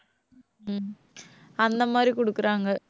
உம் அந்த மாதிரி கொடுக்குறாங்க.